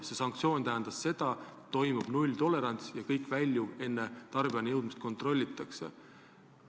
See sanktsioon tähendab seda, et kehtib nulltolerants ja kogu väljuv toodang enne tarbijani jõudmist kontrollitakse.